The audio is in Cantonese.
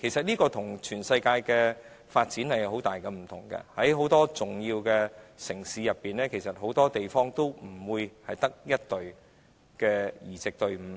這跟全球的發展有很大不同，很多重要城市也不會只有1隊移植隊伍。